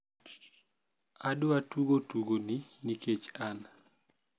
adwa tugo tugoni nikech an